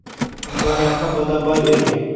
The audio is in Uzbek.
Imkoniyatni qo‘ldan boy bermang!